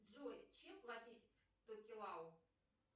джой чем платить в токелау